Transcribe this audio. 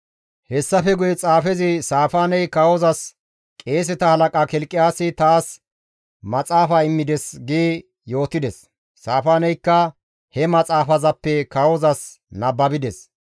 Hessafe guye xaafezi Saafaaney kawozas, «Qeeseta halaqa Kilqiyaasi taas maxaafa immides» gi yootides. Saafaaneykka he maxaafazappe kawozas nababides.